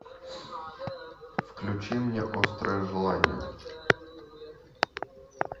включи мне острое желание